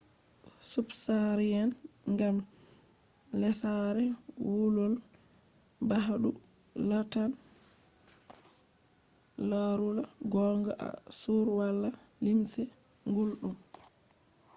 ko irin gulɗun sahara do warta pewɗon be jamma. ngam lesare wulol ɓaandu latan larula gonga to on wala limse gulɗum